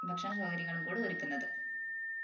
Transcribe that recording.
ഭക്ഷണ സൗകര്യങ്ങളും കൂടി ഒരുക്കുന്നത്